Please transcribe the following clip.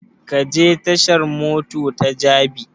Ka je tashan mota ta jabi?